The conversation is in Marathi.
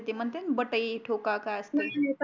ते म्हणते ना बटाई ठोका काय असते